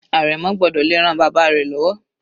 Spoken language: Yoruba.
Àrẹ̀mọ gbọ́dọ̀ le ran bàbá rẹ̀ lọ́wọ́.